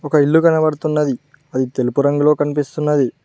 ఒక ఇల్లు కనబడుతున్నది అది తెలుపు రంగులో కనిపిస్తున్నది.